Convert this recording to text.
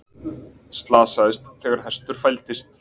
Slasaðist þegar hestur fældist